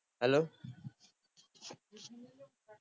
હાલો